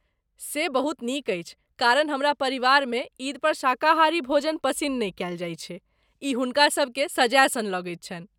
से बहुत नीक अछि, कारण हमरा परिवारमे ईद पर शाकाहारी भोजन पसिन्न नहि कयल जाइत छै, ई हुनकासभकेँ सजाय सन लगैत छनि।